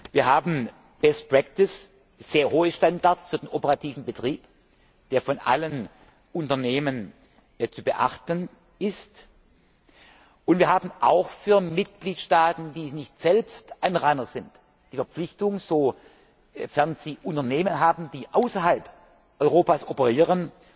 Wir haben best practice sehr hohe Standards für den operativen Betrieb, der von allen Unternehmen zu beachten ist, und wir haben auch für Mitgliedstaaten, die nicht selbst Anrainer sind, die Verpflichtung, sofern sie Unternehmen haben, die außerhalb Europas operieren,